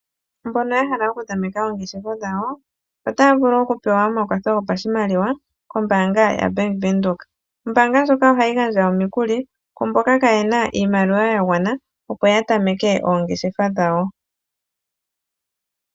Mbono ya hala okutameka oongeshefa dhawo otaya vulu oku pewa omakwatho gopashimaliwa kombaanga yaBank Windhoek. Ombaanga ndjoka ohayi gandja omikuli kwaa mboka kaa ye na iimaliwa ya gwana, opo ya tameke oongeshefa dhawo.